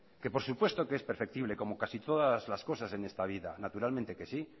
que por supuesto que es perceptible como casi todas las cosas en esta vida naturalmente que sí